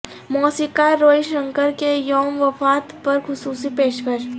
موسیقار روی شنکر کے یوم وفات پر خصوصی پیشکش